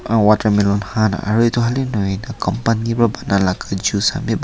watermelon kan aro etu kan he nahoi na company vra buna laka juice kan bi.